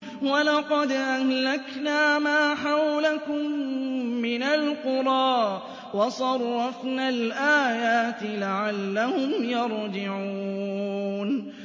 وَلَقَدْ أَهْلَكْنَا مَا حَوْلَكُم مِّنَ الْقُرَىٰ وَصَرَّفْنَا الْآيَاتِ لَعَلَّهُمْ يَرْجِعُونَ